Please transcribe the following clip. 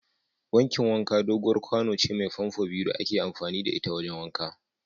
Wankin wanka doguwar kwano ce mai famfo biyu da ake amfani da ita wajen wanka.